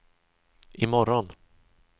imorgon